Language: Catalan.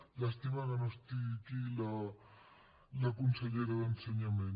llàstima que no estigui aquí la consellera d’ensenyament